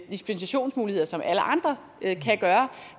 dispensationsmuligheder som alle andre kan